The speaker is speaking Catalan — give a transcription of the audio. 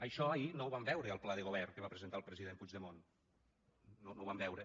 això ahir no ho vam veure al pla de govern que va presentar el president puigdemont no ho vam veure